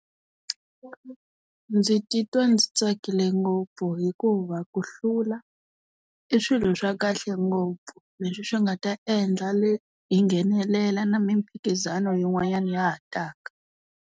Ndzi titwa ndzi tsakile ngopfu hikuva ku hlula, i swilo swa kahle ngopfu leswi swi nga ta endla hi nghenelela na mphikizano yin'wanyana ya ha taka.